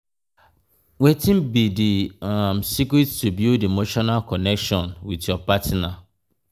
wetin be di um secret to build emotional connection with your partner? um